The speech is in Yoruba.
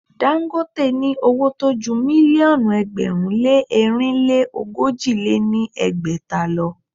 Dagote ní owó tó ju mílíọ̀nù ẹgbẹ̀rún lé ẹ̀rinlé ogójì lé ní ẹgbẹ́ta lọ.